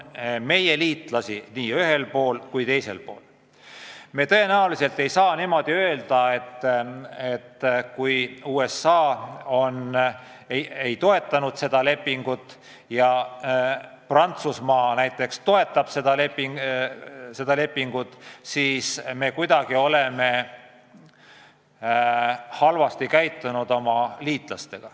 Seega me tõenäoliselt ei saa öelda, et kui USA ei toetanud seda lepingut ja Prantsusmaa näiteks toetab, siis me oleme oma liitlastega kuidagi halvasti käitunud.